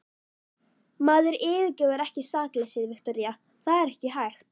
Maður yfirgefur ekki sakleysið, Viktoría, það er ekki hægt.